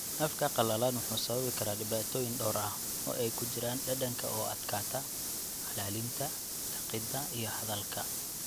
Afka qalalan wuxuu sababi karaa dhibaatooyin dhowr ah, oo ay ku jiraan dhadhanka oo ku adkaata, calalinta, liqidda, iyo hadalka.